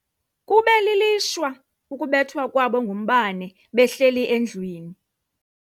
Kube lilishwa ukubethwa kwabo ngumbane behleli endlwini.